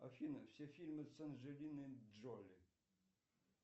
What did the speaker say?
афина все фильмы с анджелиной джоли